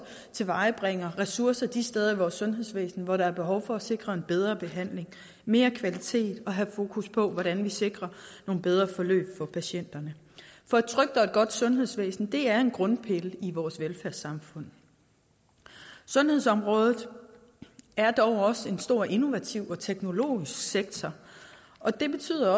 at tilvejebringe ressourcer de steder i vores sundhedsvæsen hvor der er behov for at sikre en bedre behandling mere kvalitet og have fokus på hvordan vi sikrer nogle bedre forløb for patienterne for et trygt og godt sundhedsvæsen er en grundpille i vores velfærdssamfund sundhedsområdet er dog også en stor innovativ og teknologisk sektor og det betyder